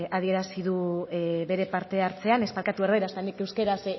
adierazi du bere partehartzean eta nik euskaraz